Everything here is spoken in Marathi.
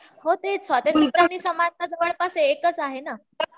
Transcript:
हो स्वातंत्र आणि समानता जवळपास एकचं आहे ना